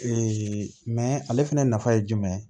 mɛ ale fɛnɛ nafa ye jumɛn ye